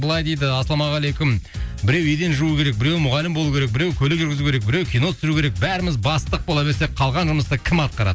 былай дейді ассалаумағалейкум біреу еден жуу керек біреу мұғалім болу керек біреу көлік жүргізу керек біреу кино түсіру керек бәріміз бастық бола берсек қалған жұмысты кім атқарады